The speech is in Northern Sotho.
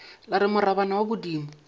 la re morabana wa bodimo